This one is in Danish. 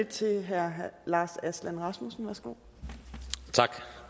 til det her med